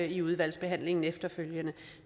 i udvalgsbehandlingen efterfølgende